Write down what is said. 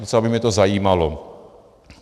Docela by mě to zajímalo.